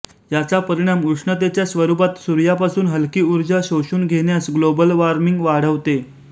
याचा परिणाम उष्णतेच्या स्वरूपात सूर्यापासून हलकी उर्जा शोषून घेण्यास ग्लोबल वार्मिंग वाढवते